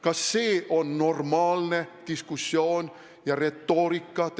Kas see on normaalne diskussioon ja retoorika?